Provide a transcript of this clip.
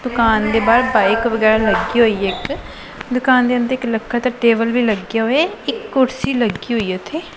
ਦੁਕਾਨ ਦੇ ਬਾਹਰ ਬਾਇਕ ਵਗੈਰਾ ਲੱਗੀ ਹੋਇਆ ਇੱਕ ਦੁਕਾਨ ਦੇ ਅੰਦਰ ਇੱਕ ਲੱਕੜ ਦਾ ਟੇਬਲ ਵੀ ਲੱਗਿਆ ਹੋਇਆ ਇੱਕ ਕੁਰਸੀ ਲੱਗੀ ਹੋਈਆ ਉੱਥੇ।